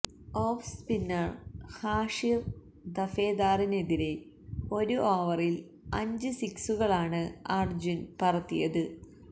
of spinner Hashir ദഫേദാറിനെതിരെ ഒരു ഓവറില് അഞ്ച് സിക്സുകളാണ് അര്ജുന് പറത്തിയത്